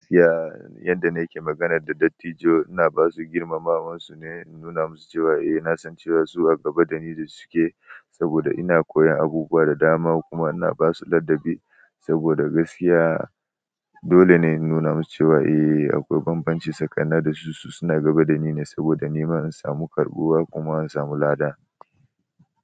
Gaskiya yanda nake magana da dattijon ina basu girmamawar su ne, in nuna musu cewa eh na san cewa su a gaba dani da suke saboda ina koyan abubuwa da dama kuma ina basu ladabi saboda gaskiya. Dole ne in nuna musu cewa eh akwai banbanci tsakanin da su, su suna gaba dani ne saboda nima in samu karɓuwa kuma in samu lada.